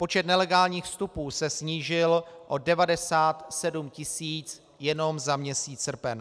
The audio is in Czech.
Počet nelegálních vstupů se snížil o 97 tisíc jenom za měsíc srpen.